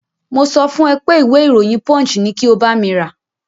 Mo sọ fún ẹ pé ìwé ìròyìn Punch ni kí o bámi rà.